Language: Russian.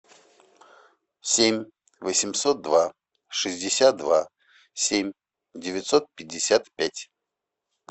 семь восемьсот два шестьдесят два семь девятьсот пятьдесят пять